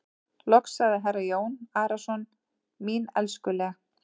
Loks sagði herra Jón Arason:-Mín elskuleg.